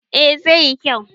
eh zai yi kyau